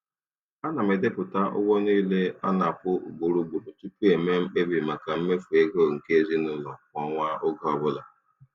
Ana m edepụta ụgwọ niile a na-akwụ ugboro ugboro tupu m mee mkpebi maka mmefu ego nke ezinụụlọ kwa ọnwa oge ọbụla.